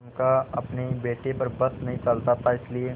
उनका अपने बेटे पर बस नहीं चलता था इसीलिए